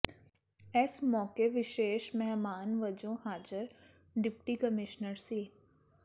ਇਸ ਮੌਕੇ ਵਿਸ਼ੇਸ਼ ਮਹਿਮਾਨ ਵਜੋਂ ਹਾਜ਼ਰ ਡਿਪਟੀ ਕਮਿਸ਼ਨਰ ਸ